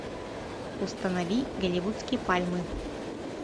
установи голливудские пальмы